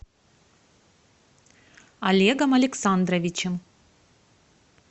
олегом александровичем